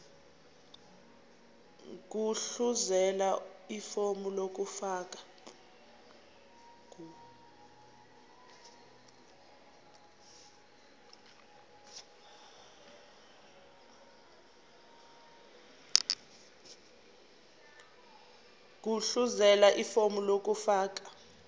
gudluzela ifomu lokufaka